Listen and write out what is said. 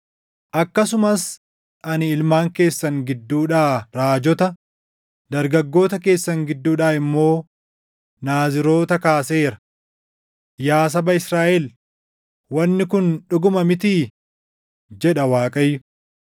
“Akkasumas ani ilmaan keessan gidduudhaa raajota, dargaggoota keessan gidduudhaa immoo Naaziroota kaaseera. Yaa saba Israaʼel, wanni kun dhuguma mitii?” jedha Waaqayyo.